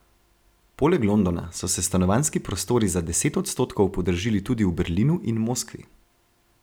Poleg Londona so se stanovanjski prostori za deset odstotkov podražili tudi v Berlinu in Moskvi.